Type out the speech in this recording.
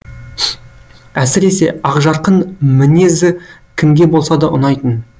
әсіресе ақжарқын мінезі кімге болса да ұнайтын